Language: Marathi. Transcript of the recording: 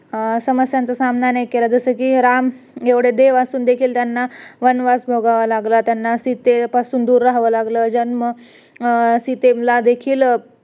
अं समस्यांचा सामना नाही केला जस कि राम एवढे देव असून देखील त्यांना वनवास भोगावा लागला त्याना सीतेपासून दूर राहावं लागलं जन्म सीतेला देखील